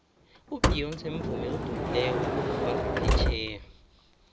ubeyonce mvumi odumileko wangaphetjheya